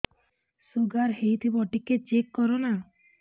sugar ହେଇଥିବ ଟିକେ check କର ନା